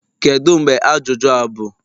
Kedu mgbe ajụjụ a bụ?